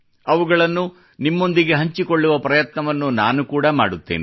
ಅವುಗಳನ್ನು ನಿಮ್ಮೊಂದಿಗೆ ಹಂಚಿಕೊಳ್ಳುವ ಪ್ರಯತ್ನವನ್ನು ನಾನು ಕೂಡಾ ಮಾಡುತ್ತೇನೆ